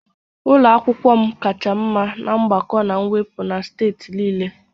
Ụlọ akwụkwọ m kacha mma na mgbakọ na mwepụ na steeti niile